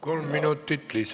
Kolm minutit lisaaega.